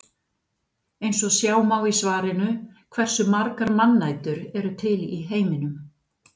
Eins og sjá má í svarinu Hversu margar mannætur eru til í heiminum?